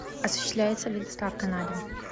осуществляется ли доставка на дом